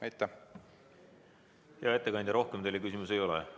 Hea ettekandja, rohkem teile küsimusi ei ole.